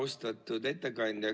Austatud ettekandja!